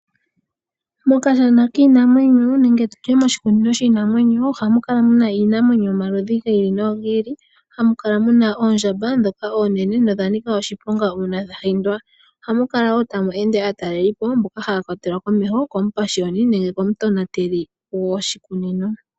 Mokashana kiinamwenyo, nenge tutye moshikunino shiinamwenyo ohamu kala muna iinamwenyo yomaludhi gi ili nogi ili. Ohamu Kala muna oondjamba ndhoka oonene, nodha nika oshiponga uuna dhahindwa. Ohamu kala wo tamu ende aatalelipo mboka haya kwatelwa komeho komupashiyoni, nenge komutonateli gwoshikunino.